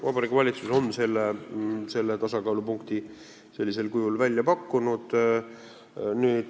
Vabariigi Valitsus on selle tasakaalupunkti sellisel kujul välja pakkunud.